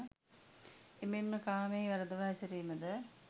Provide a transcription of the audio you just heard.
එමෙන්ම කාමයෙහි වරදවා හැසිරීම ද